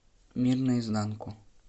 мир наизнанку